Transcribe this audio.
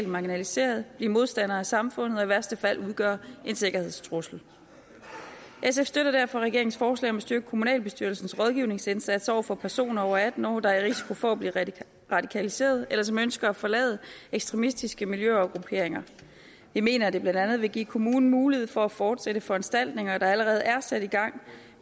marginaliserede blive modstandere af samfundet og i værste fald udgøre en sikkerhedstrussel sf støtter derfor regeringens forslag om at styrke kommunalbestyrelsens rådgivningsindsats over for personer over atten år der er i risiko for at blive radikaliseret eller som ønsker at forlade ekstremistiske miljøer og grupperinger vi mener at det blandt andet vil give kommunerne mulighed for at fortsætte foranstaltninger der allerede er sat i gang